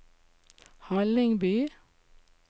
Hallingby